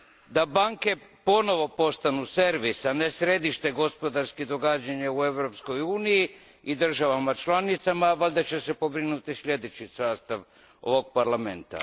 Da banke ponovo postanu servis, a ne središte gospodarskih događanja u Europskoj uniji i državama članicama, valjda će se pobrinuti sljedeći sastav ovog Parlamenta.